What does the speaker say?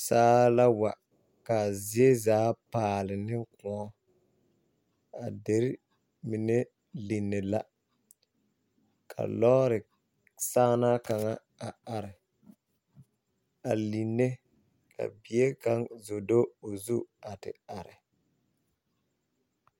Saa la wa ka a zie zaa paale ne kõɔ a dere mine lini la ka lɔɔre saa na kaŋa are line ka bie kaŋ zo do o zu a te are.